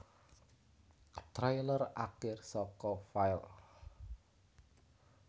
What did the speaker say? Trailer Akir saka file